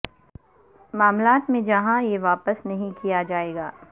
معاملات میں جہاں یہ واپس نہیں کیا جائے گا